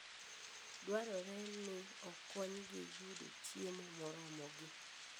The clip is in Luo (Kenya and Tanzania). Dwarore ni okonygi yudo chiemo moromogi.